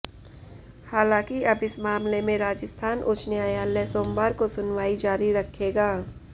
हालांकि अब इस मामले में राजस्थान उच्च न्यायालय सोमवार को सुनवाई जारी रखेगा